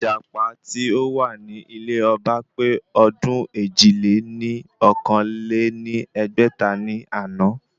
Ìjàpá tí ó wà ní ilé ọba pé ọdún èjì-lé-ní-okòó lé ní ẹgbẹ́ta ní àná